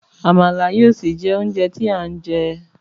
Àmàlà yóò sì jé oúnjẹ tí à ń jẹ.